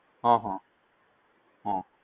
હહ હ